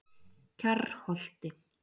Kjarrholti